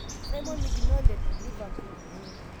Simon Mignolet(liverpool).